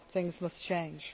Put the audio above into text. on. Things must change.